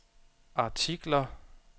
artikler